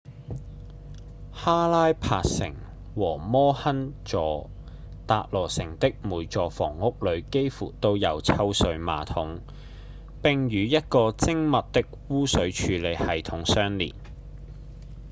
哈拉帕城和摩亨佐-達羅城的每座房屋裡幾乎都有抽水馬桶並與一個精密的污水處理系統相連